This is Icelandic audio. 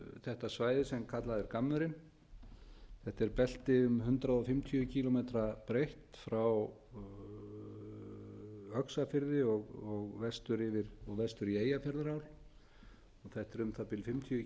þetta svæði sem kallað er gammurinn þetta er belti um hundrað fimmtíu kílómetra breitt frá öxarfirði og vestur í eyjafjarðarál og þetta er um það bil fimmtíu